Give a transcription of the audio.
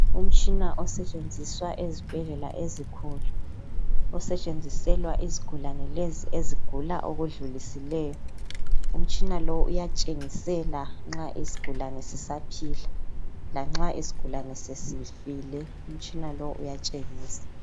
Umtshina osetshenziswa ezibhedlela ezinkulu osetshenziselwa izigulane lezi ezigula okudlulisileyo , umtshina lo uyatshengisela nxa isigulane sisaphila lanxa isigulane sesifile umtshina lo uyatshengisa.